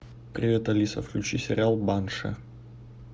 привет алиса включи сериал банши